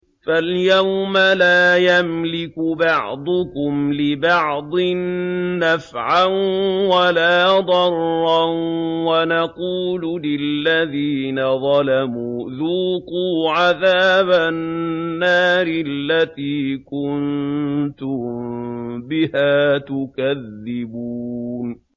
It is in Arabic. فَالْيَوْمَ لَا يَمْلِكُ بَعْضُكُمْ لِبَعْضٍ نَّفْعًا وَلَا ضَرًّا وَنَقُولُ لِلَّذِينَ ظَلَمُوا ذُوقُوا عَذَابَ النَّارِ الَّتِي كُنتُم بِهَا تُكَذِّبُونَ